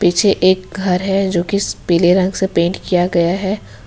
पीछे एक घर है जो की पीले रंग से पेंट किया गया है।